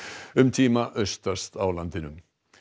um tíma austast á landinu